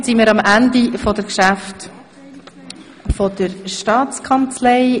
Damit sind wir am Ende der Geschäfte der Staatskanzlei.